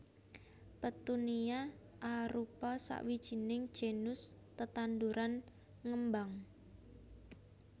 Petunia arupa sawijining genus tetanduran ngembang